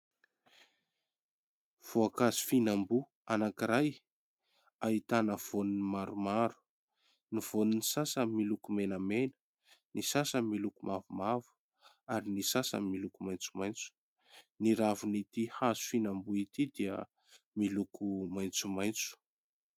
Voankazo fihinam-boa anankiray ahitana voany maromaro, ny voan'ny sasany miloko menamena, ny sasany miloko mavomavo ary ny sasany miloko maitsomaitso. Ny ravin'ity hazo fihinam-boa ity dia miloko maitsomaitso.